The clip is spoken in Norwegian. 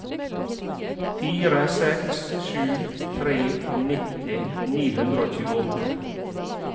fire seks sju tre nitti ni hundre og tjueåtte